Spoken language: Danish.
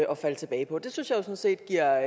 at falde tilbage på det synes jeg jo sådan set giver